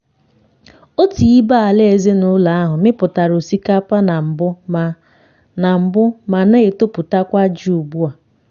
otu ibé-ala ezinụlọ ahụ mipụtara osikapa na mbụ ma na mbụ ma na-etoputakwa ji ugbu a.